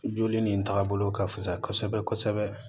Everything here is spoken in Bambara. Joli nin tagabolo ka fisa kosɛbɛ kosɛbɛ